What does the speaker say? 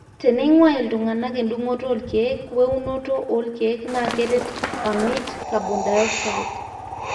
teneingua iltungana edungoto olkiek we eunoto olkiek naa keret amit carbon dioxide